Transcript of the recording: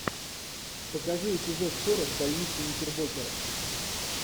покажи эпизод сорок больницы никербокера